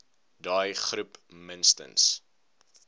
daai groep minstens